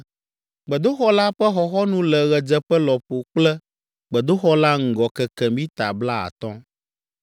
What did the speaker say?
Gbedoxɔ la ƒe xɔxɔnu le ɣedzeƒe lɔƒo kple gbedoxɔ la ŋgɔ keke mita blaatɔ̃.